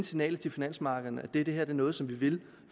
signal til finansmarkederne at det her er noget som vi vil